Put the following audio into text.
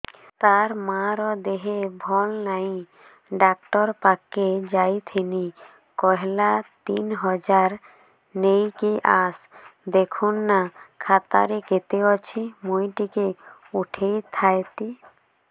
ତାର ମାର ଦେହେ ଭଲ ନାଇଁ ଡାକ୍ତର ପଖକେ ଯାଈଥିନି କହିଲା ତିନ ହଜାର ନେଇକି ଆସ ଦେଖୁନ ନା ଖାତାରେ କେତେ ଅଛି ମୁଇଁ ଟିକେ ଉଠେଇ ଥାଇତି